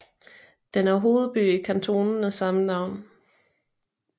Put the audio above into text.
Den er hovedby i kantonen af samme navn